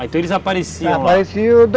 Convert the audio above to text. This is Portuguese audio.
Ah, então eles apareciam lá, apareciam